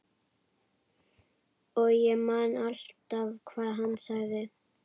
Og ég man alltaf hvað hann sagði.